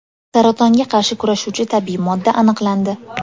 Saratonga qarshi kurashuvchi tabiiy modda aniqlandi.